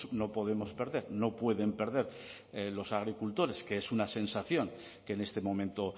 no podemos perder no pueden perder los agricultores que es una sensación que en este momento